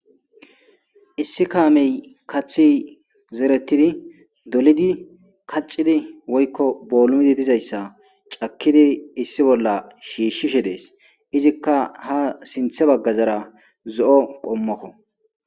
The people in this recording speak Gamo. Issi kaamey kathi zeretidi dolidi kaccidi woykko boolumidi dizayssa cakkidi issi bolla shiishshishe dees izikka ha sinthe baggazara zo'o qommokko